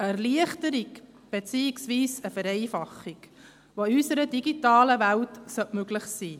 Eine Erleichterung beziehungsweise eine Vereinfachung, die in unserer digitalen Welt möglich sein sollte.